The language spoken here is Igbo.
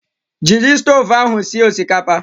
Jiri stovu ahụ sie osikapa!